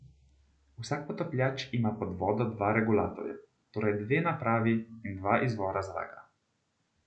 Vsak potapljač ima pod vodo dva regulatorja, torej dve napravi in dva izvora zraka.